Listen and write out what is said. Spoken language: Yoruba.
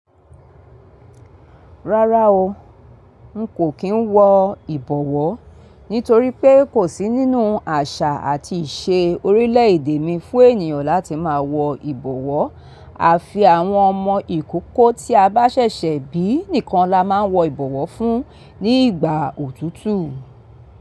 Rárá o, n kò kí ń wọ ìbọ̀wọ́, nítorí pé kò sí nínú àṣà àti ìṣe orílẹ̀ èdè mi fún ènìyàn láti máa wọ ìbọ̀wọ́. Àfi àwọn ọmọ ìkókó tí a bá ṣẹ̀ṣẹ̀ bí nìkan la máa ń wọ ìbọ̀wọ́ fún ní ìgbà òtútù.